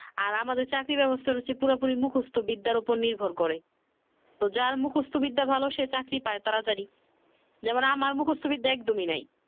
আর আমাদের চাকরির ব্যবস্থার হচ্ছে পুরোপুরি মুখস্ত বিদ্যার উপর নির্ভর করে তো যার মুখস্ত বিদ্যা ভালো সে চাকরি পাই তাড়াতাড়ি যেমন আমার মুখস্ত বিদ্যা একদমই নাই